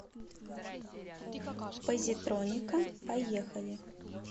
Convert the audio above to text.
позитроника поехали